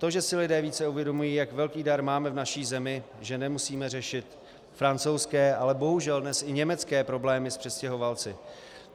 To, že si lidé více uvědomují, jak velký dar máme v naší zemi, že nemusíme řešit francouzské, ale bohužel dnes i německé problémy s přistěhovalci.